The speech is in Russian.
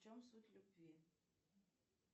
в чем суть любви